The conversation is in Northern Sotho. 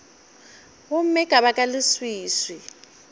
gomme ka baka la leswiswi